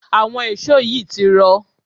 àwọn èṣó yìí ti rọ̀